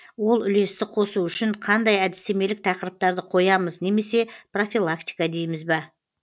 ол үлесті қосу үшін қандай әдістемелік тақырыптарды қоямыз немесе профилактика дейміз ба